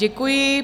Děkuji.